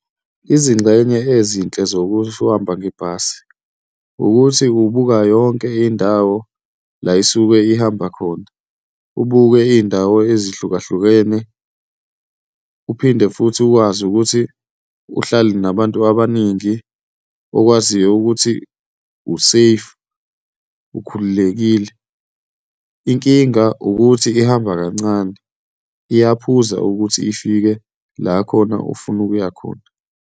Izingxenye ezinhle zokuhamba ngebhasi ukuthi ubuka yonke indawo la isuke ihamba khona, ubuke iy'ndawo ezihlukahlukene, uphinde futhi ukwazi ukuthi uhlale nabantu abaningi okwaziyo ukuthi u-safe, ukhululekile. Inkinga ukuthi ihamba kancane, iyaphuza ukuthi ifike la khona ofuna ukuya khona.